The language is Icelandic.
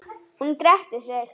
Hún gretti sig.